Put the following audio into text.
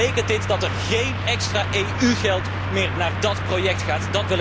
Maar betekent dit dat er geen extra EU geld meer naar dat project gaat?